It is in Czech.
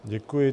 Děkuji.